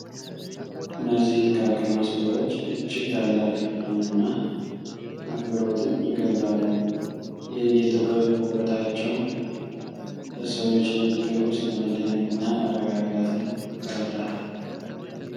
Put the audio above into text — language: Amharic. እነዚህ ጥቃቅን መስቀሎች እጅግ ታላቅ ፍቅርን እና አክብሮትን ይገልጣሉ። የዕደ ጥበብ ውበታቸው በሰዎች ልብ ውስጥ መደነቅን እና መረጋጋትን ይፈጥራል ።